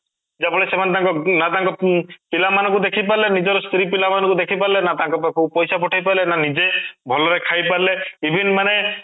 ଯେ ଭଳି ସେମାନେ ତାଙ୍କ ନା ତାଙ୍କ ପିଲା ମାନଙ୍କୁ ଦେଖିପାରିଲେ ନିଜର ସ୍ତ୍ରୀ ପିଲା ଙ୍କୁ ଦେଖିପାରିଲେ ନା ତାଙ୍କ ପାଖ କୁ ପଇସା ପଠେଇପାରିଲେ ନ ନିଜେ ଭଲ ରେ ଖାଇପାରିଲେ even ମାନେ